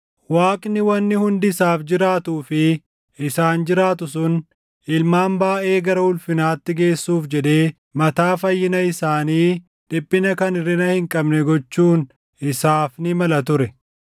Waaqni wanni hundi isaaf jiraatuu fi isaan jiraatu sun ilmaan baayʼee gara ulfinaatti geessuuf jedhee mataa fayyina isaanii dhiphina kan hirʼina hin qabne gochuun isaaf ni mala ture.